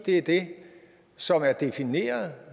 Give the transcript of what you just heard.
er det som er defineret